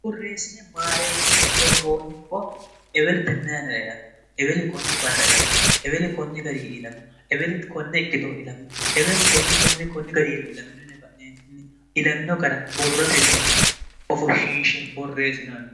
burreesine maareekkine borroonni borro ewelienn ira ilamino eweli konne barra ilamino eweli konni gari ilamino eweli konne ikkitoo ilamino eweeli konne konne konni gariiwe ilamino nefa'nini ilamino gara borrotenni ofishshinshe borreesinonni